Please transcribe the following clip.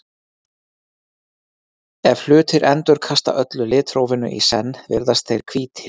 Ef hlutir endurkasta öllu litrófinu í senn virðast þeir hvítir.